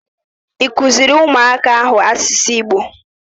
Ị kụziri ụmụaka ahụ asụsụ Igbo?